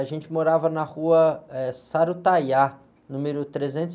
A gente morava na rua, eh, Sarutaiá, número trezentos e